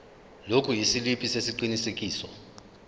lokhu isiliphi sesiqinisekiso